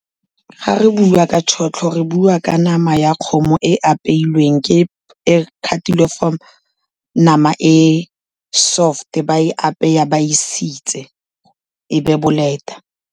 Ga re bua ka tšhotlho re bua ka nama ya kgomo e apeilweng, ke e khatilwe from nama e soft-e, ba e apeya ba e sitse e be boleta.